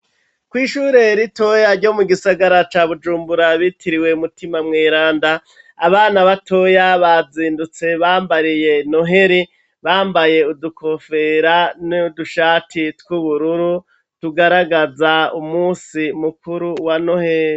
Kw'ishure ritoya ryo mu gisagara ca Bujumbura bitiriwe Mutima Mweranda, abana batoya bazindutse bambariye noheli, bambaye udukofero n'udushati tw'ubururu tugaragaza umusi mukuru wa noheli.